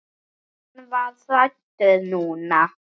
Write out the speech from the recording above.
Hann var hræddur núna.